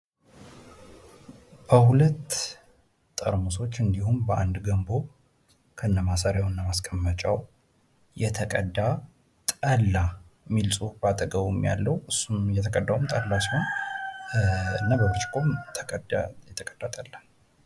በሁለት ጠርሙሶች እንዲሁም በአንድ ገንቦ እስከ ማሰሪያው እና እስከ ማስቀመጫው የተቀዳ ጠላ የሚል ፅሁፍ በአጠገቡ ያለው የተቀዳውም ጠላ ሲሆን የተቀዳ ጠላ።